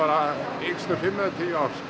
yngst um fimm eða tíu ár